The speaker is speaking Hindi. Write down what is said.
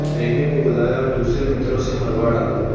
प्रेमी को बुलाया और दूसरे मित्रों से मरवा डाला